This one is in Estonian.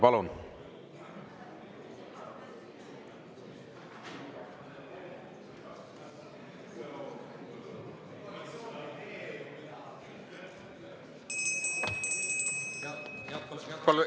Palun!